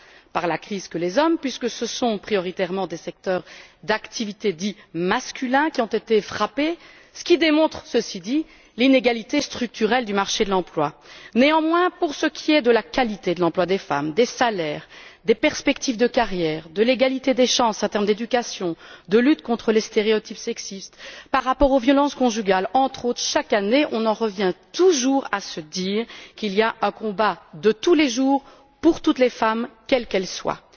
par la crise que les hommes, puisque ce sont prioritairement des secteurs d'activité dits masculins qui ont été frappés ce qui démontre, ceci dit, l'inégalité structurelle du marché de l'emploi. Néanmoins, pour ce qui est de la qualité de l'emploi des femmes, des salaires, des perspectives de carrière, de l'égalité des chances dans l'éducation, de la lutte contre les stéréotypes sexistes, par rapport aux violences conjugales, entre autres, toujours on en revient chaque année à se dire qu'il faut mener un combat de tous les jours pour toutes les femmes, quelles qu'elles soient.